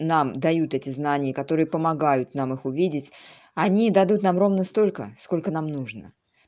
нам дают эти знания которые помогают нам их увидеть они дадут нам ровно столько сколько нам нужно